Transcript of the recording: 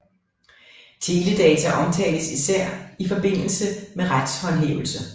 Teledata omtales især i forbindelse med retshåndhævelse